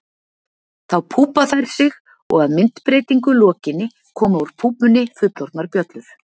Þá púpa þær sig og að myndbreytingu lokinni koma úr púpunni fullorðnar bjöllur.